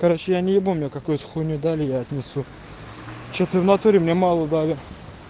короче я не ибу мне какую то хуйню дали я отнесу что то в натуре мне мало дали